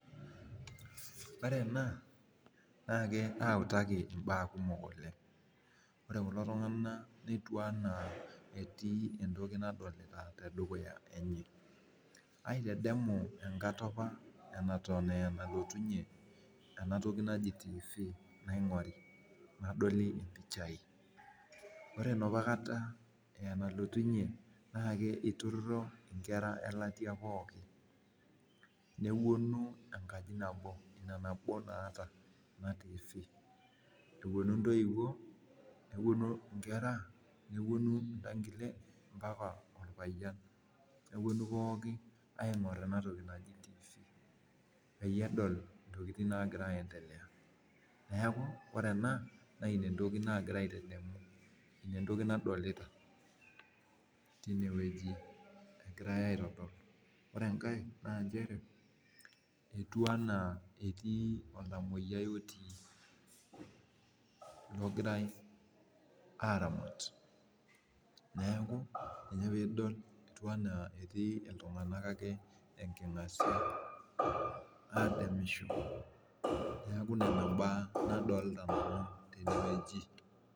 Ore ena nautaki I'm aa kumok oleng, or kulo tunganak netiu anaa etii entoki nagira tedukuya enye. aitadamu enkata apa neton apa enalotunye ena toki naji tiifi naingori. nadoli, ore enapa kata aa enalotunye, iltururi, nkera elaitia pookin. nepuonu enkaji nabo Ina nabo naata. tifii. epuonj ntoiwuo nepuonu, nkera. nepuonu mpaka orpayian. nepuonu pookin aing'or ena toki naji tifii. peyie edol ntokitin naagira aendelea neeku ore ena naa Ina entoki naagira aitadamu. entoki nadolita teine wueji egirae aetodol. etii oltamoyiai otii ogirae aaramat. neeku ore pee idol etii iltunganak ake enkingasia. adamisho. neeku Nena mbaya nadolita nanu tene wueji.